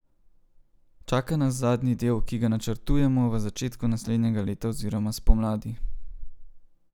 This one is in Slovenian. Čaka nas zadnji del, ki ga načrtujemo v začetku naslednjega leta oziroma spomladi.